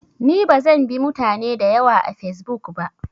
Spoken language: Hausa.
Ni bazan bi mutane dayawa a fesbuk ba